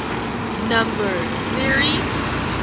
number theory